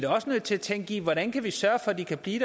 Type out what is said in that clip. også nødt til at tænke i hvordan vi kan sørge for at de kan blive